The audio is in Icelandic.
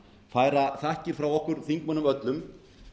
færa þakkir frá okkur þingmönnum öllum